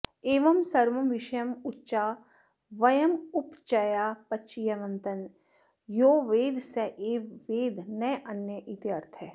एवं सर्वं विषयमुच्चावयमुपचयापचयवन्तं यो वेद स एव वेद नान्य इत्यर्थः